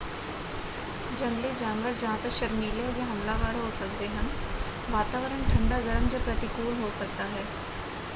ਜੰਗਲੀ ਜਾਨਵਰ ਜਾਂ ਤਾਂ ਸ਼ਰਮੀਲੇ ਜਾਂ ਹਮਲਾਵਰ ਹੋ ਸਕਦੇ ਹਨ। ਵਾਤਾਵਰਣ ਠੰਡਾ ਗਰਮ ਜਾਂ ਪ੍ਰਤੀਕੂਲ ਹੋ ਸਕਦਾ ਹੈ।